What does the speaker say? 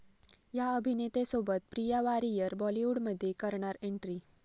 या' अभिनेत्यासोबत प्रिया वारियर बॉलिवूडमध्ये करणार एन्ट्री!